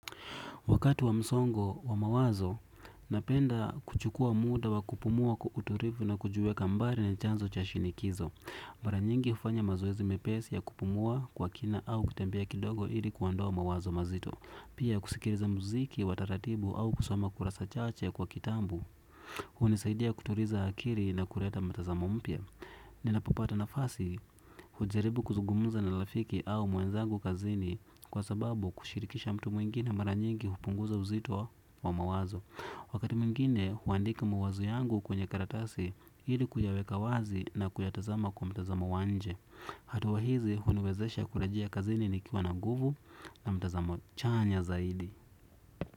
Wakati wa msongo wa mawazo, napenda kuchukua muda wa kupumua kwa utulivu na kujuweka mbali ni chanzo cha shinikizo. Mara nyingi hufanya mazoezi mepesi ya kupumua kwa kina au kutembea kidogo ili kuondoa mawazo mazito. Pia kusikiliza muziki, wa taratibu au kusoma kurasa chache kwa kitabu. Hunisaidia kutuliza akili na kuleta mtazamo mpya. Ninapopata nafasi hujaribu kuzugumuza na rafiki au mwenzangu kazini. Kwa sababu kushirikisha mtu mwingine mara nyingi hupunguza uzito wa mawazo. Wakati mwingine huandika mawazo yangu kwenye karatasi, ili kuyaweka wazi na kuyatazama kwa mtazama wa nje. Hatua hizi huniwezesha kurejea kazini nikiwa na nguvu na mtazamo chanya zaidi.